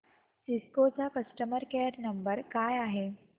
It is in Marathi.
सिस्को चा कस्टमर केअर नंबर काय आहे